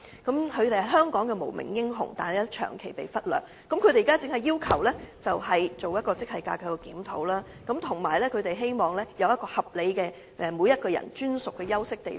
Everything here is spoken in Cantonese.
他們是香港的無名英雄，但卻長期被忽略，現在只要求當局為其進行職系架構檢討，並希望有一個合理的個人專屬休息地方。